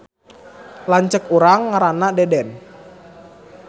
Lanceuk urang ngaranna Deden